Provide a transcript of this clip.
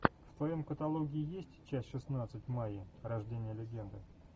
в твоем каталоге есть часть шестнадцать майя рождение легенды